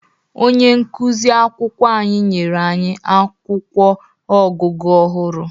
Onye nkụzi akwụkwọ anyị nyere anyị akwụkwọ ọgụgụ ọhụrụ.